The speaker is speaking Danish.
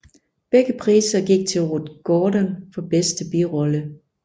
Begge priser gik til Ruth Gordon for bedste birolle